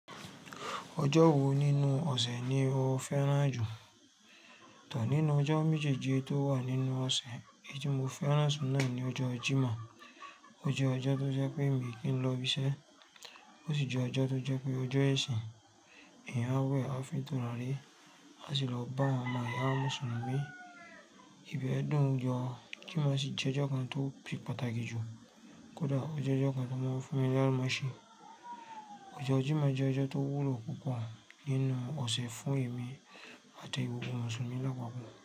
Ọjọ́ wo nínú ọ̀sẹ̀ ni o fẹ́ràn jù? Tọ̀or nínú ọjọ́ méjèèjì tó wà nínú ọ̀sẹ̀, èyí tí mo fẹ́ràn jù náà ni ọjọ́ Jímọ̀. Ó jẹ́ ọjọ́ tó jẹ́ pé mi kì í lọ ibiṣẹ́, ó sì jẹ́ ọjọ́ tó jẹ́ pé ọjọ́ ẹ̀sìn. Èèyàn á wẹ̀, á fi tura ri á sì lọ bá àwọn ọmọ iya wa ni Mùsùlùmí. Ìbẹ́ẹ̀ dáhùn, ọjọ́ Jímọ̀ sì jẹ́ ọjọ́ kan tó se pataki jù. Kódà o je ọjọ́ ọ̀kan tó máa ń fún mi láńmọ̀ ṣe. Ọjọ́ Jímọ̀ jẹ́ ọjọ́ tó wúlo púpọ̀ nínú ọ̀sẹ̀ fún èmi àti gbogbo Mùsùlùmí lápápọ̀